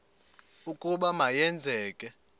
ukuba ma yenzeke